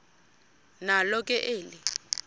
nalo ke eli